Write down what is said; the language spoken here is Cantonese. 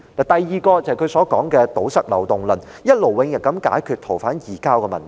第二點，就是他提出的堵塞漏洞論，希望一勞永逸地解決逃犯移交的問題。